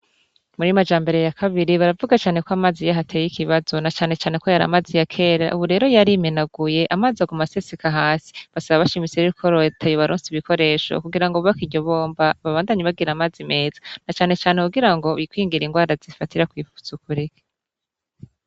Muri Majambere ya kabiri baravuga cane kw’amazi yatey’ikibazo na cane cane ko y’aramazi ya kera, ubu rero yarimenaguye , amaz’aguma aseseka hasi. Basaba bashimitse rero ko Leta yobaronsa ibikoresho kugirango bubake iyo bomba babandanye bagira amazi neza na cane cane kugirango bikingire ingwara zifatira kw’isuku rike.